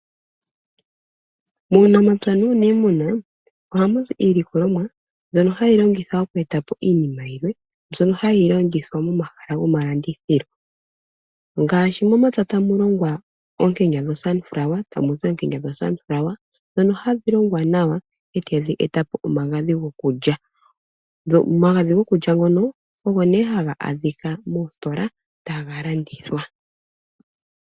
Muunamapya nuunimuna ohamui iilikolomwa mbyono hayi longithwa oku etapo iinima yilwe mbyono hayi landithwa momahala gomalandithilo ngaashi momapya tamu longwa oonkenya ,ndhono hadhi longwa nawa etadhi etapo omagadhi gokulya . Omagadhi gokulya ngono ogo nee haga adhika moositola taga landithwa.